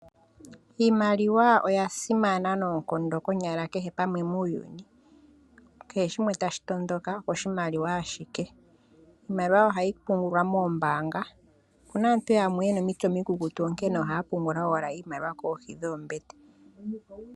Iimaliwa oya simana noonkondo konyala kehe pamwe muuyuni kehe shimwe tashi toondoka oko shimaliwa ashike. Iimaliwa ohayi pungulwa moombanga opuna aantu yamwe yena omitse omikukutu onkene ohaya pungula owala kohi dhoombete.